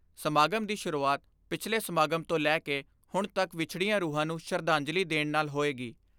ਸਮਾਗਮ ਦੀ ਸ਼ੁਰੂਆਤ ਪਿਛਲੇ ਸਮਾਗਮ ਤੋਂ ਲੈ ਕੇ ਹੁਣ ਤੱਕ ਵਿਛੜੀਆਂ ਰੂਹਾਂ ਨੂੰ ਸ਼ਰਧਾਂਜਲੀ ਦੇਣ ਨਾਲ ਹੋਏਗੀ।